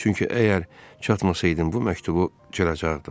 Çünki əgər çatmasaydım bu məktubu cıracaqdım.